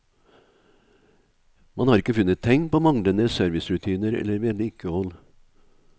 Man har ikke funnet tegn på manglende servicerutiner eller vedlikehold.